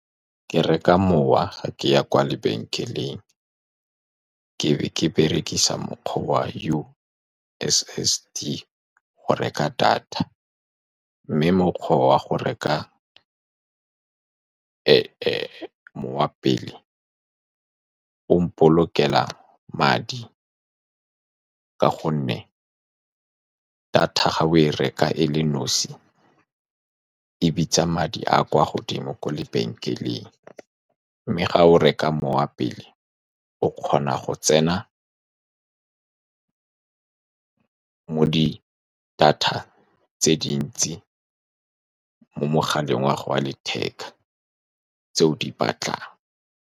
Ke reka mowa fa ke ya kwa lebenkeleng, ke be ke berekisa mokgwa wa U_S_S_D go reka data, mme mokgwa wa go reka mowa pele o mpolokelo madi, ka gonne data fa o e reka e le nosi e bitsa madi a a kwa godimo kwa lebenkeleng. Mme fa o reka mowa pele, o kgona go tsena mo di-data tse dintsi mo mogaleng wa gago wa letheka tse o di batlang.